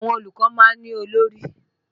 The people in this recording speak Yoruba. Àwọn olùkọ́ máa ń olórí